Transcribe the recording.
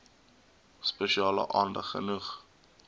spesiale aandag genoeg